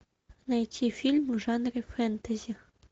найти фильм в жанре фэнтези